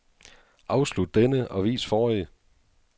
Afslut denne og vis forrige.